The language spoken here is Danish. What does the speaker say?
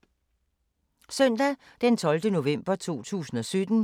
Søndag d. 12. november 2017